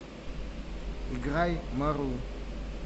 играй марул